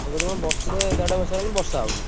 ମୁଁ କହିଲି କଣ ବର୍ଷେ ଦେଢ ବର୍ଷ ହେଲାଣି ବର୍ଷା ହଉନି।